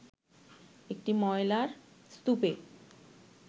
একটি ময়লার স্তূপে